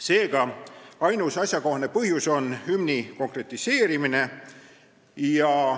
Seega, ainus asjakohane põhjus on hümni konkretiseerimine.